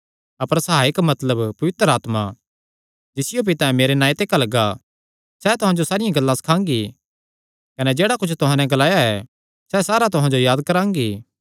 अपर सहायक मतलब पवित्र आत्मा जिसियो पितैं मेरे नांऐ ते घल्लगा सैह़ तुहां जो सारियां गल्लां सखांगी कने जेह्ड़ा कुच्छ मैं तुहां नैं ग्लाया ऐ सैह़ सारा तुहां जो याद करांगी